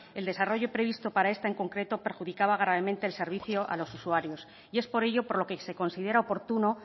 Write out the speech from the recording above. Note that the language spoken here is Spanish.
el desarrollo previsto para esta en concreto perjudicaba gravemente el servicio a los usuarios y es por ello por lo que se considera oportuno